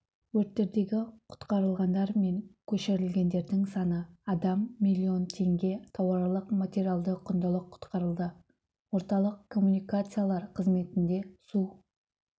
өрттердегі құтқарылғандар мен көшірілгендердің саны адам миллион тенге тауарлық материалдық құндылық құтқарылды орталық коммуникациялар қызметінде су